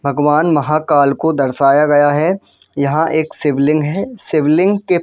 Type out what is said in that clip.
भगवान महाकाल को दर्शाया गया है यहां एक शिवलिंग है शिवलिंग के --